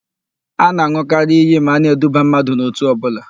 A na-an̄ụkarị íyí ma a na-eduba mmadụ n'òtù ọbụla.